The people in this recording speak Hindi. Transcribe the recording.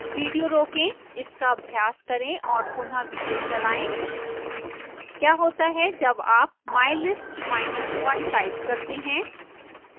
विडियो रोकें इसका अभ्यास करें और पुनः विडियो चलाएं